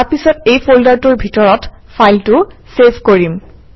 তাৰপিছত এই ফল্ডাৰটোৰ ভিতৰত ফাইলটো চেভ কৰিম